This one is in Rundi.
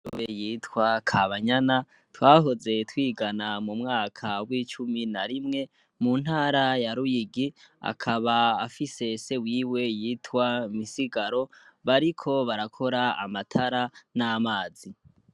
be yitwa Kabanyana twahize twigana mumwaka wicumi na rimwe muntara ya Ruyigi akaba afise se yitwa Misigari bakaba bariko barakora abatara namazi.